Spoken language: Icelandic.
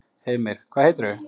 Heimir: Hvað heitirðu?